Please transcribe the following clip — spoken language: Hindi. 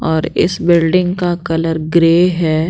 और इस बिल्डिंग का कलर ग्रे है।